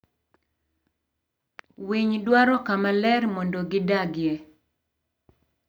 Winy dwaro kama ler mondo gidagie.